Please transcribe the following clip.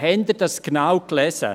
Haben Sie dies genau gelesen?